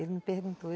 Ele me perguntou.